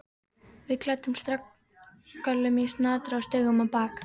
Við klæddumst regngöllum í snatri og stigum á bak.